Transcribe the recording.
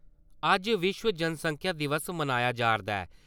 अज्ज विश्व जनसंख्या दिवस मनाया जा'रदा ऐ ।